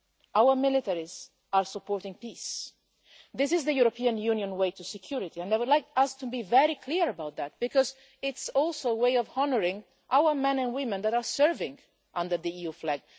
Our militaries are supporting peace. This is the European Union way to security, and I would like us to be very clear about that, because it is also a way of honouring our men and women serving under the EU flag.